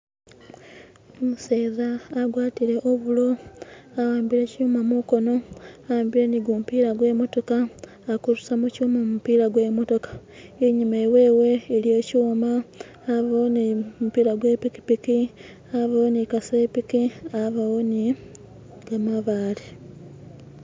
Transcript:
umuseza agwatile ovulo aambile kyuma mukono waambile nigumupila gwe motoka alikurusamo kyuma mumupila gwe motoka inyuma iwewe iliyo kyuma yabawo ne mupila gwe pikipiki yabawo ni kasepiki yabawo ni gamabaale.